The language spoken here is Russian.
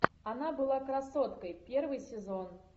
она была красоткой первый сезон